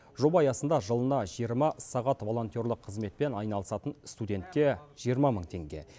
жоба аясында жылына жиырма сағат волонтерлік қызметпен айналысатын студентке жиырма мың теңге